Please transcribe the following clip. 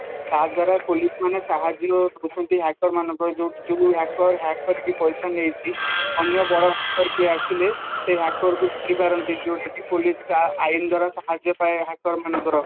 ତଦ୍ଵାରା police ମାନେ ସହଯ୍ୟ କରୁଛନ୍ତି hacker ମାନଙ୍କୁ ଯୋଉ hacker hack କରିକି ପଇସା ନେଇଛି ଅନ୍ୟ ବଡ hacker କିଏ ଆସିଲେ ସେ hacker କୁ ଧରିପାରନ୍ତି ଯୋଉଁଟାକି police ତାର ଆଇନ ଦ୍ଵାରା ସହାଯ୍ୟ ପାଏ hacker ମାନଙ୍କର